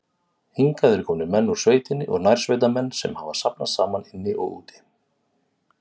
Hingað eru komnir menn úr sveitinni og nærsveitamenn, sem hafa safnast saman inni og úti.